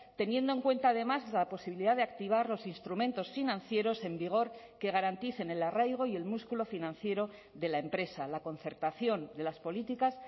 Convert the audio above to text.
teniendo en cuenta además la posibilidad de activar los instrumentos financieros en vigor que garanticen el arraigo y el músculo financiero de la empresa la concertación de las políticas